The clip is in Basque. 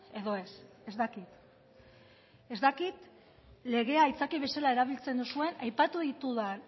edo ez ez dakit ez dakit legea aitzakia bezala erabiltzen duzuen aipatu ditudan